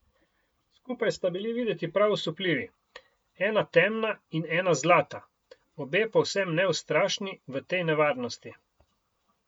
Skupaj sta bili videti prav osupljivi, ena temna in ena zlata, obe povsem neustrašni v tej nevarnosti.